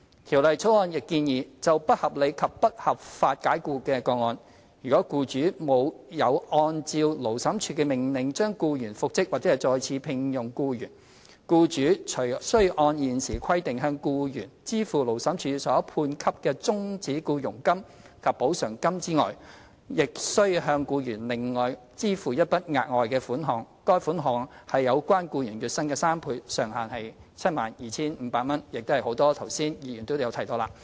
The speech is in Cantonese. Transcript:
《條例草案》亦建議，就不合理及不合法解僱的個案，如僱主沒有按照勞審處的命令將僱員復職或再次聘用僱員，僱主除須按現時規定，向僱員支付勞審處所判給的終止僱傭金及補償金外，亦須向僱員另外支付一筆額外款項，款額為有關僱員月薪的3倍，上限為 72,500 元，亦是剛才很多議員提到的。